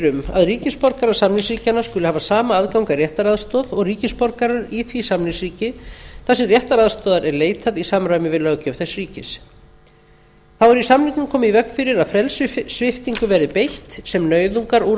um að ríkisborgarar samningsríkjanna skuli hafa sama aðgang að réttaraðstoð og ríkisborgarar í því samningsríki þar sem réttaraðstoðar er leitað í samræmi við löggjöf þess ríkis þá er í samningnum komið í veg fyrir að frelsissviptingu verði beitt sem